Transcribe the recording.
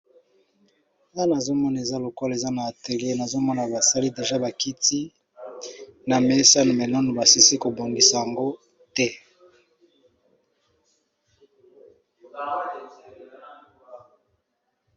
Wana nazomona eza lokola eza na atelie nazokonama basali deja bakiti na mesa menanu basilisi kobongisa yango te.